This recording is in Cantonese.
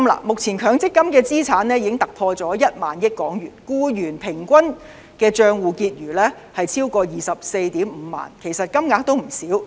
目前強積金的資產已突破1萬億港元，僱員平均帳戶結餘超過 245,000 元，其實金額也不少。